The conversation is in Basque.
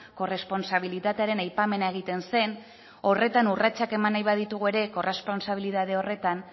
korresponsabilitatearen aipamena egiten zen horretan urratsak eman nahi baldin baditugu ere korresponsabilitate horretan